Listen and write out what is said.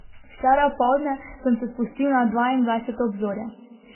Včeraj opoldne sem se spustil na dvaindvajseto obzorje.